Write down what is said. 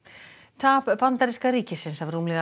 tap bandaríska ríkisins af rúmlega